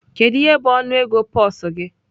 Kedu ihe bụ ọnụego pulse gị?